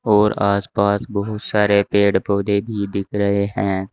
और आस पास बहोत सारे पेड़ पौधे भी दिख रहे हैं।